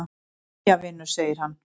"""Jæja, vinur segir hann."""